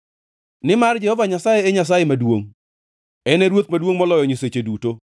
Nimar Jehova Nyasaye e Nyasaye maduongʼ, en e Ruoth maduongʼ moloyo nyiseche duto.